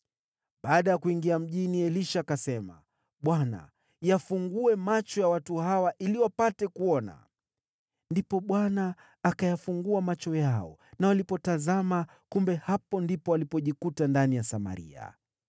Baada ya kuingia mjini, Elisha akasema, “ Bwana , yafungue macho ya watu hawa ili wapate kuona.” Ndipo Bwana akayafungua macho yao, na walipotazama, kumbe hapo ndipo walipojikuta, ndani ya Samaria.